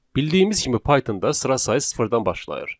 Bildiyimiz kimi Pythonda sıra sayı sıfırdan başlayır.